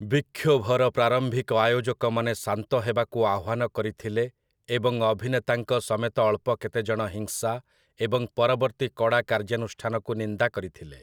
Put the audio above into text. ବିକ୍ଷୋଭର ପ୍ରାରମ୍ଭିକ ଆୟୋଜକମାନେ ଶାନ୍ତ ହେବାକୁ ଆହ୍ଵାନ କରିଥିଲେ ଏବଂ ଅଭିନେତାଙ୍କ ସମେତ ଅଳ୍ପ କେତେଜଣ ହିଂସା ଏବଂ ପରବର୍ତ୍ତୀ କଡ଼ା କାର୍ଯ୍ୟାନୁଷ୍ଠାନକୁ ନିନ୍ଦା କରିଥିଲେ ।